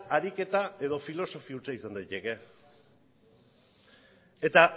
ariketa edo filosofi hutsa izan daiteke eta